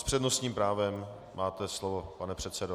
S přednostním právem - máte slovo, pane předsedo.